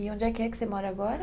E onde é que é que você mora agora?